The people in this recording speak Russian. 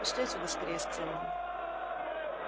пошли отсюда скорее сказал он